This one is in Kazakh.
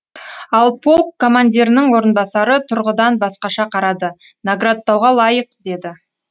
ал полк командирінің орынбасары тұрғыдан басқаша қарады наградтауға лайық деді